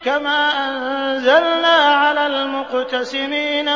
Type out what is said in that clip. كَمَا أَنزَلْنَا عَلَى الْمُقْتَسِمِينَ